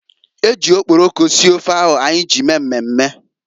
Eji okporoko sie ofe ahu anyị mee mmemme.